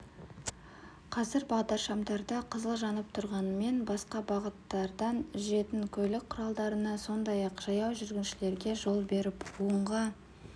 қазір бағдаршамдарда қызыл жанып тұрғанымен басқа бағыттардан жүретін көлік құралдарына сондай-ақ жаяу жүргіншілерге жол беріп оңға